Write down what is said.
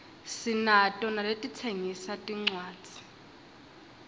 sinato naletitsengisa tincuadzi